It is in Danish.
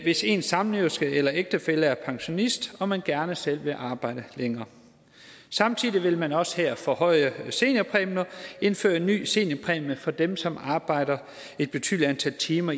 hvis ens samlever eller ægtefælle er pensionist og man gerne selv vil arbejde længere samtidig vil man også her forhøje seniorpræmien og indføre en ny seniorpræmie for dem som arbejder et betydelig antal timer